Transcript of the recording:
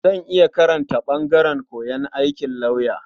Zan iya karanta ɓangaren koyon aikin lauya.